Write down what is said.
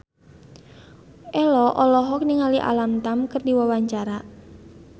Ello olohok ningali Alam Tam keur diwawancara